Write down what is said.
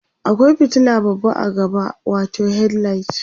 akwai fitila babba a gaba watau headlight